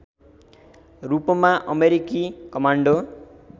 रूपमा अमेरिकी कमान्डो